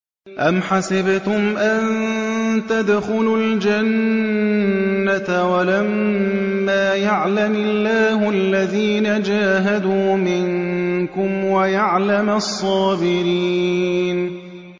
أَمْ حَسِبْتُمْ أَن تَدْخُلُوا الْجَنَّةَ وَلَمَّا يَعْلَمِ اللَّهُ الَّذِينَ جَاهَدُوا مِنكُمْ وَيَعْلَمَ الصَّابِرِينَ